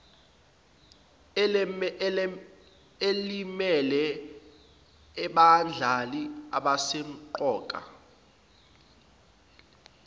elimele abadlali abasemqoka